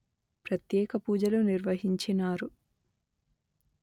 ప్రత్యేక పూజలు నిర్వహించినారు